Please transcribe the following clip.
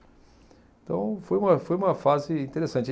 Então, foi uma, foi uma fase interessante.